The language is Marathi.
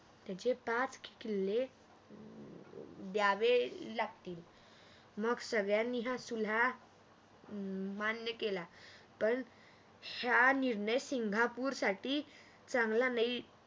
त्याचे पाच किल्ले द्यावे लागतील मग सगळ्यांनी हा सल्ला मान्य केला पण हा निर्णय सिंगापूर साठी चांगला नाही